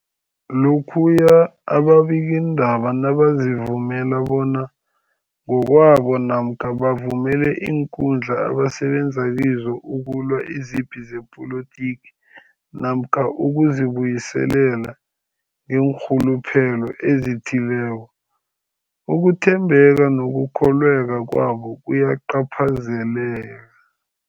Lokhuya ababikiindaba nabazivumela bona ngokwabo namkha bavumele iinkundla abasebenza kizo ukulwa izipi zepolitiki namkha ukuzi buyiselela ngeenrhuluphelo ezithileko, ukuthembeka nokukholweka kwabo kuyacaphazeleka.